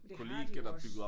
Det har de jo også